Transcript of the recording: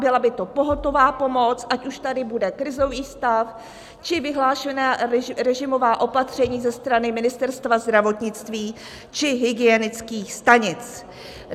Byla by to pohotová pomoc, ať už tady bude krizový stav, či vyhlášená režimová opatření ze strany Ministerstva zdravotnictví či hygienických stanic.